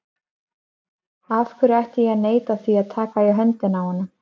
Af hverju ætti ég að neita því að taka í höndina á honum?